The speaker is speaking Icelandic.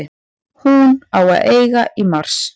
Hún á að eiga í mars.